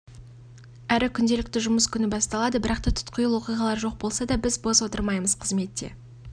әрі күнделікті жұмыс күні басталады бірақта тұтқиыл оқиғалар жоқ болса да біз бос отырмаймыз қызметте